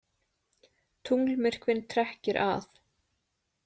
Tunglmyrkvinn trekkir að